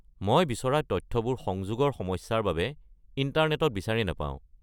মই বিচৰা তথ্যবোৰ সংযোগৰ সমস্যাৰ বাবে ইণ্টাৰনেটত বিচাৰি নাপাওঁ।